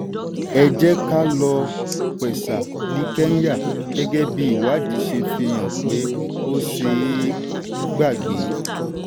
ẹ jẹ́ ká lo m-pesa ní kenya gẹ́gẹ́ bí ìwádìí ṣe fi hàn pé ó ṣeé gbàgbé.